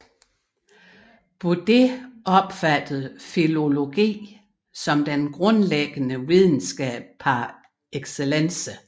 Budé opfattede filologi som den grundlæggende videnskab par excellence